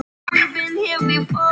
Hæ, þetta er Emil.